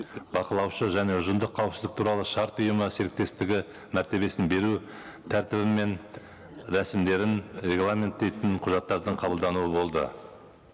бақылаушы және ұжымдық қауіпісіздік туралы шырт ұйымы серіктестігі мәртебесін беру тәртібі мен рәсімдерін регламенттейтін құжаттардың қабылдануы болды